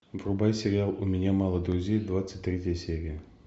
врубай сериал у меня мало друзей двадцать третья серия